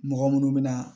Mɔgɔ minnu bɛ na